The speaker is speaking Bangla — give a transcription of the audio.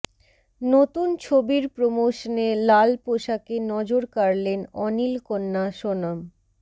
নতুন ছবির প্রোমশনে লাল পোশাকে নজর কাড়লেন অনিল কন্যা সোনম